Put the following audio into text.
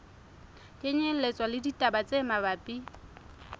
kenyelletswa le ditaba tse mabapi